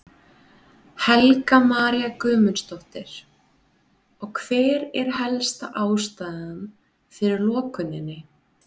Helga María Guðmundsdóttir: Og hver er helsta ástæðan fyrir lokuninni?